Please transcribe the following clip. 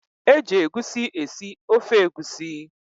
E ji egusi esi ofe egusi.